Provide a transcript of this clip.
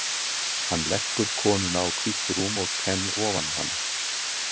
Hann leggur konuna á hvítt rúm og Ken ofan á hana.